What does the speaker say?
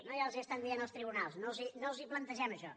no ja els ho estan dient els tribunals no els plantegem això